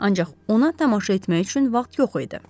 Ancaq ona tamaşa etmək üçün vaxt yox idi.